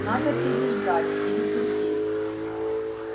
надо переждать перетерпеть